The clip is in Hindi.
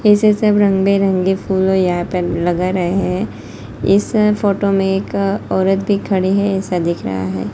इस सब रंग बिरंगे फूलों यहां पर लगा रहे है इस फोटो में एक औरत भी खड़ी है ऐसा दिख रहा है।